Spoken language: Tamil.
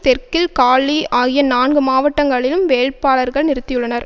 தெற்கில் காலி ஆகிய நான்கு மாவட்டங்களில் வேட்பாளர்கள் நிறுத்தியுள்ளனர்